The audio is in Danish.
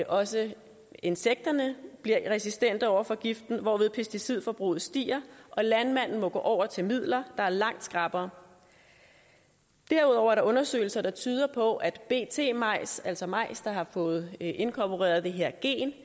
også insekterne bliver resistente over for giften hvorved pesticidforbruget stiger og landmanden må gå over til midler der er langt skrappere derudover er der undersøgelse der tyder på at bt majs altså majs der har fået inkorporeret det her